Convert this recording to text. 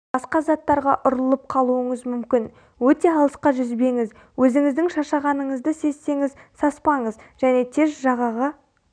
басқа заттарға ұрылып қалуыңыз мүмкін өте алысқа жүзбеңіз өзіңіздің шаршағаныңызды сезсеңіз саспаңыз және тез жағаға